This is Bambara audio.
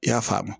I y'a faamu